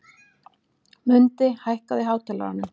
Mundi, hækkaðu í hátalaranum.